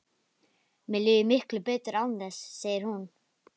Mér líður miklu betur án þess, segir hún.